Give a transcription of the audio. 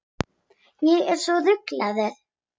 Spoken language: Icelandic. Ég er svo rugluð.